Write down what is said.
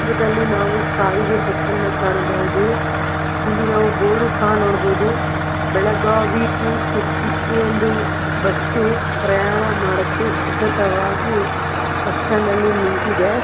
ಚಿತ್ರದಲ್ಲಿ ನಾವು ಸಾರಿಗೆ ಬಸ್ ಅನ್ನು ಕಾಣಬಹುದು. ಇಲ್ಲಿ ನಾವು ಬೋರ್ಡ್ ಅನ್ನು ಸಹ ನೋಡಬಹುದು. ಬೆಳಗಾವಿ ಟು ಸಿರ್ಸಿ ಈ ಒಂದು ಬಸ್ ಪ್ರಯಾಣ ಮಾಡಲು ಸಿದ್ಧತವಾಗಿ ಬಸ್ ಸ್ಟಾಂಡ್ ಅಲ್ಲಿ ನಿಂತಿದೆ